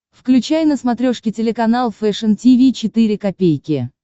включай на смотрешке телеканал фэшн ти ви четыре ка